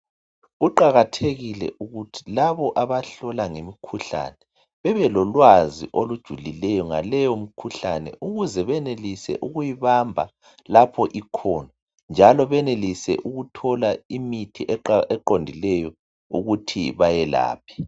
Kuqakathekile ukuthi labo abahlola ngemikhuhlane bebelolwazi olujulileyo ngaleyo mikhuhlane ukuze benelise ukuyibamba lapho ikhona njalo benelise ukuthola imithi eqondileyo ukuthi bayelaphe.